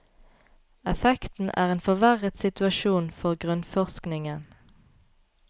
Effekten er en forverret situasjon for grunnforskningen.